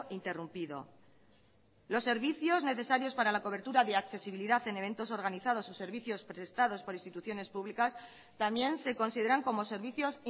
interrumpido los servicios necesarios para la cobertura de accesibilidad en eventos organizados o servicios prestados por instituciones públicas también se consideran como servicios